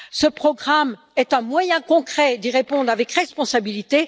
Ce programme est un moyen concret d'y répondre avec responsabilité.